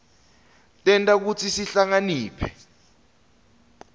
tenta kutsi sihlakaniphe